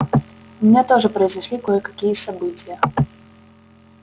у меня тоже произошли кое-какие события